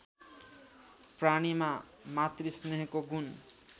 प्राणीमा मातृस्नेहको गुण